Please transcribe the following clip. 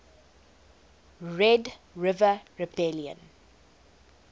red river rebellion